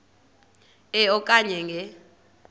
e okanye nge